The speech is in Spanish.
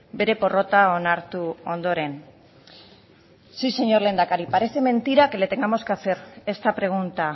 bere porrota onartu ondoren sí señor lehendakari parece mentira que le tengamos que hacer esta pregunta